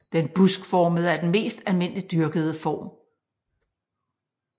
Den buskformede er den mest almindeligt dyrkede form